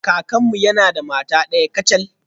Kakanmu yana da mata daya kacal.